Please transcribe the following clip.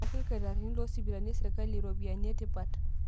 Melaki ilktarini loosipitalini eserikali rupiani etipat